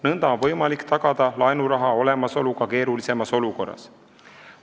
Nõnda on võimalik tagada laenuraha olemasolu ka keerulisemas olukorras.